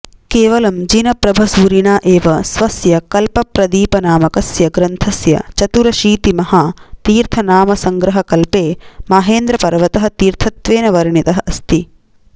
केवलं जिनप्रभसूरिणा एव स्वस्य कल्पप्रदीपनामकस्य ग्रन्थस्य चतुरशीतिमहातीर्थनामसङ्ग्रहकल्पे माहेन्द्रपर्वतः तीर्थत्वेन वर्णितः अस्ति